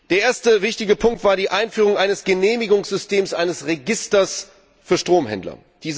Der erste wichtige Punkt war die Einführung eines Genehmigungssystems für ein Register für Stromhändler.